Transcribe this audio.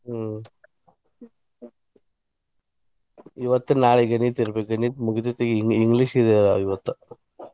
ಹ್ಮ್‌ ಇವತ್ತು ನಾಳೆ ಗಣಿತ ಇರ್ಬೆಕ ಗಣಿತ english ಅದ ಇವತ್ತು .